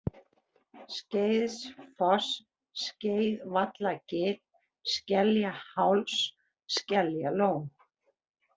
Skeiðsfoss, Skeiðvallagil, Skeljaháls, Skeljalón